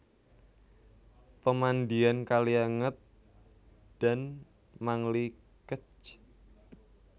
Pemandian Kalianget dan Mangli Kec